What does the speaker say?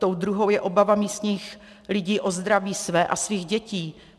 Tou druhou je obava místních lidí o zdraví své a svých dětí.